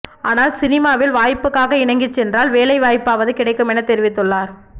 ஆனால் சினிமாவில் வாய்ப்புக்காக இணங்கி சென்றால் வேலை வாய்ப்பாவது கிடைக்கும் என தெரிவித்து உள்ளார்